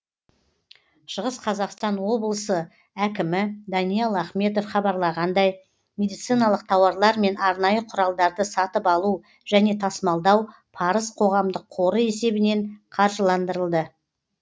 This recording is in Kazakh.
шығыс қазақстан облысы әкімі даниал ахметов хабарлағандай медициналық тауарлар мен арнайы құралдарды сатып алу және тасымалдау парыз қоғамдық қоры есебінен қаржыландырылды